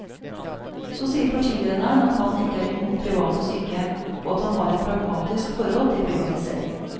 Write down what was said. Så sier partilederen at han ikke er imot private sykehjem, og at han har et pragmatisk forhold til privatisering.